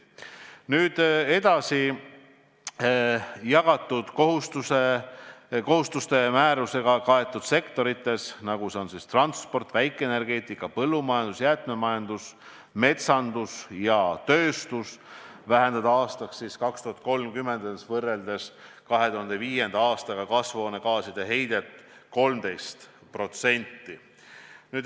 Nüüd edasi, jagatud kohustuse määrusega kaetud sektorites, nagu transpordis, väikeenergeetikas, põllumajanduses, jäätmemajanduses, metsanduses ja tööstuses, tuleb 2030. aastaks võrreldes 2005. aastaga vähendada kasvuhoonegaaside heidet 13%.